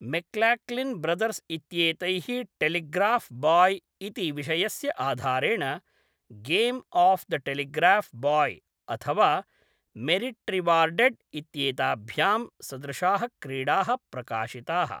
McLaughlin brothers इत्येतैः telegraph boy इति विषयस्य आधारेण game of the telegraph boy, अथवा मेरिट्रिवार्डेड् इत्येताभ्यां सदृशाः क्रीडाः प्रकाशिताः।